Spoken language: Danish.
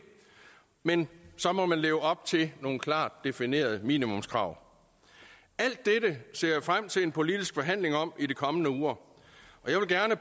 men så må man leve op til nogle klart definerede minimumskrav alt dette ser jeg frem til en politisk forhandling om i de kommende uger